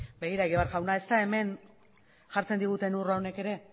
begira egibar jauna ez da hemen jartzen diguten urrak honek ere